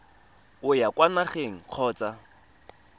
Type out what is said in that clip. o ya kwa nageng kgotsa